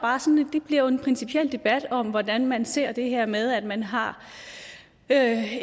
bliver en principiel debat om hvordan man ser på det her med at man har